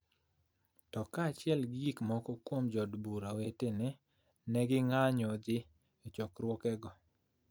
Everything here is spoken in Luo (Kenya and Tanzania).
to kaachiel gi moko kuom jo od bura wetene, ne ging'anyo dhi e chokruogego.